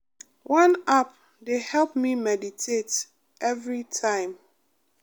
one app dey help me meditate everytime